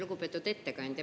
Lugupeetud ettekandja!